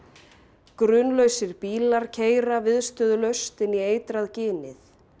grunlausir bílar keyra viðstöðulaust inn í eitrað ginið